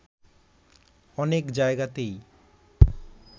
অনেক জায়গাতেই